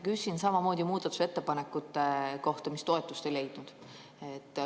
Küsin samamoodi muudatusettepanekute kohta, mis toetust ei leidnud.